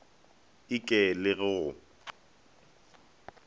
e ke le go go